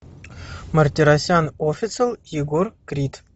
мартиросян официал егор крид